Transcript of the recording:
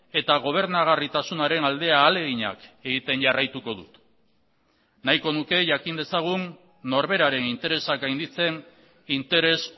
eta gobernagarritasunaren alde ahaleginak egiten jarraituko dut nahiko nuke jakin dezagun norberaren interesak gainditzen interes